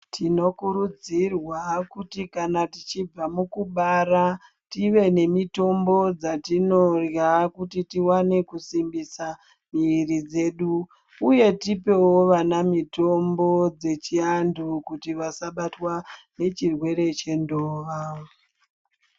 Tinokurudzirwa kuti kana tichibva mukubara tive nemitombo dzatinorya kuti tiwane kusimbisa miri dzedu uye tipewo vana mitombo dzechiantu kuti vasabatwa nechirwere chendova.